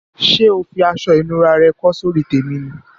Sé o fi aso ìnura re kó sórí tèmi ni?